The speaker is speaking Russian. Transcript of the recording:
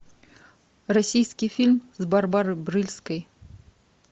российский фильм с барбарой брыльской